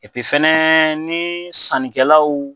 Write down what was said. fana ni sannikɛlaw